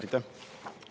Aitäh!